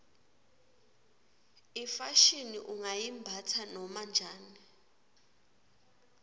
ifashini ungayimbatsa noma njani